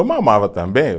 Eu mamava também.